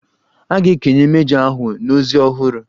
A ga-ekenye mejọ ahụ na ozi ọhụrụ.